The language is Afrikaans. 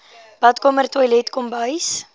badkamer toilet kombuis